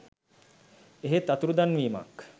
එහෙත් අතුරුදන් වීමක්